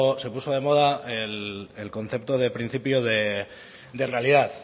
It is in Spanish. se puso de moda el concepto del principio de realidad